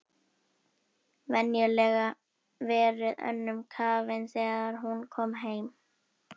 Venjulega verið önnum kafin þegar hún kom heim.